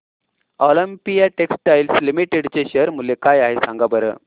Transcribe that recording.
Olympia textiles limited चे share मूल्य काय आहे सांगा बरं